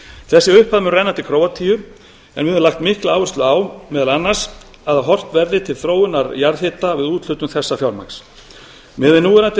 þessi upphæð mun renna til króatíu en við höfum lagt mikla áherslu á meðal annars að horft verði til þróunar jarðhita við úthlutun þessa fjármagns miðað við núverandi